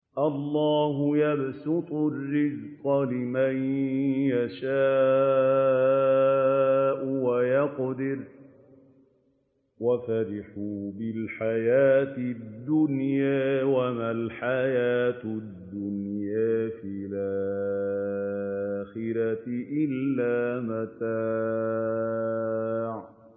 اللَّهُ يَبْسُطُ الرِّزْقَ لِمَن يَشَاءُ وَيَقْدِرُ ۚ وَفَرِحُوا بِالْحَيَاةِ الدُّنْيَا وَمَا الْحَيَاةُ الدُّنْيَا فِي الْآخِرَةِ إِلَّا مَتَاعٌ